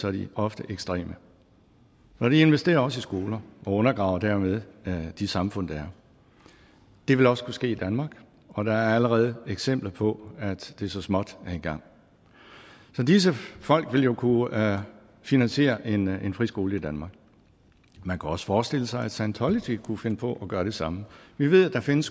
er de ofte ekstreme og de investerer også i skoler og undergraver dermed de samfund der er det vil også kunne ske i danmark og der er allerede eksempler på at det så småt er i gang disse folk vil jo kunne finansiere en en friskole i danmark man kan også forestille sig at scientology kunne finde på at gøre det samme vi ved at der findes